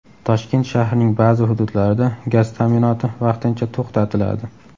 Toshkent shahrining ba’zi hududlarida gaz ta’minoti vaqtincha to‘xtatiladi.